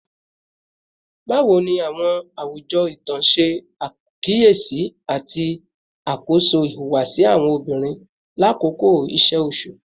Bawo ni awọn awujọ itan ṣe akiyesi ati ṣakoso ihuwasi awọn obinrin lakoko iṣe oṣu?